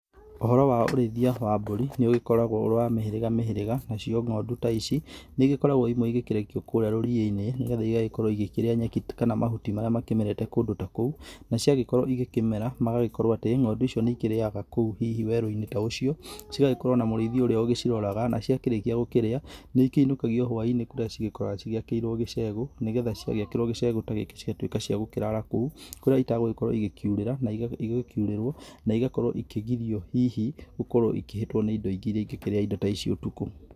Ũhoro wa ũrĩithia wa mbũri, nĩ ũgĩkoragwo ũrĩ wa mĩhĩrĩga mĩhĩrĩga, na cio ng'ondu ta ici nĩ igĩkoragwo imwe igĩkĩrekio kũrĩa rũriĩ-inĩ, nĩ getha igagĩkorwo ikĩrĩa nyeki kana mahuti marĩa makĩmerete kũndũ ta kũu, na ciagĩkorwo igĩkĩmera, magagĩkorwo atĩ ng'ondu icio nĩ ikĩrĩaga kũu hihi werũ-inĩ ta ũcio, cigagĩkorwo na mũrĩithi ũrĩa ũgĩciroraga, na ciakĩrĩkia gũkĩrĩa nĩ ikĩinũkagio hwainĩ kũrĩa cigĩkoragwo ciakĩirwo gĩcegũ, nĩ getha ciagĩkĩrwo gĩcegũ ta gĩkĩ cigatuĩka cia gũkĩrara kũu, kũrĩa itagũgĩkorwo igĩkiurĩra na igĩkiurĩrwo na igakorwo ikĩgirio hihi gũkorwo ikĩhĩtwo nĩ indo ingĩ irĩa ingĩkĩrĩaga indo ta ici ũtukũ.